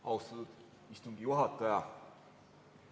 Austatud istungi juhataja!